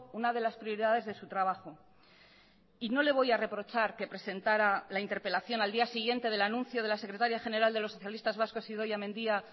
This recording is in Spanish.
una de las prioridades de su trabajo y no le voy a reprochar que presentara la interpelación al día siguiente del anuncio de la secretaria general de los socialistas vascos idoia mendia